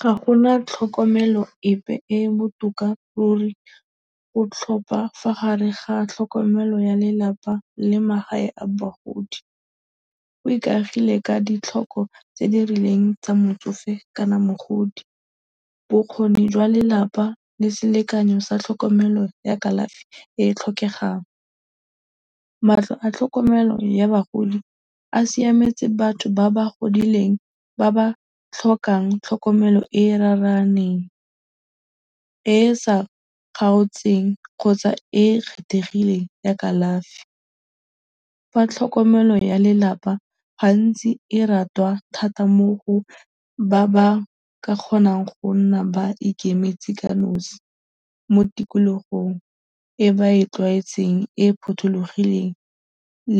Ga go na tlhokomelo epe e e botoka ruri go tlhopha fa gare ga tlhokomelo ya lelapa le magae a bagodi. Go ikagile ka ditlhokego tse di rileng tsa motsofe kana mogodi. Bokgoni jwa lelapa le selekanyo sa tlhokomelo ya kalafi e e tlhokegang. Matlo a tlhokomelo ya bagodi a siametse batho ba ba godileng ba ba tlhokang tlhokomelo e e raraaneng e e sa kgaotseng kgotsa e e kgethegileng ya kalafi. Fa tlhokomelo ya lelapa ga ntsi e ratwa thata mo go ba ba ka kgonang go nna ba ikemetse ka nosi mo tikologong e ba e tlwaetseng e e phothulogileng